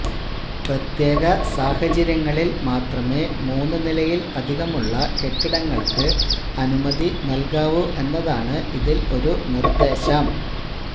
പ്രത്യേക സാഹചര്യങ്ങളിൽ മാത്രമേ മൂന്ന് നിലയിൽ അധികമുള്ള കെട്ടിടങ്ങൾക്ക് അനുമതി നൽകാവൂ എന്നതാണ് ഇതിൽ ഒരു നിർദ്ദേശം